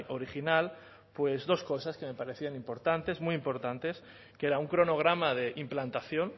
original dos cosas que me parecían importantes muy importantes que era un cronograma de implantación